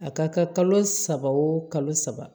A ka kɛ kalo saba o kalo saba